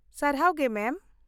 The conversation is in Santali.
ᱥᱟᱨᱦᱟᱣ ᱜᱮ ᱢᱮᱢ ᱾